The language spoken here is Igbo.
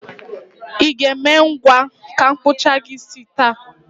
I ga-eme ngwa ka m kpụchaa gị isi taa?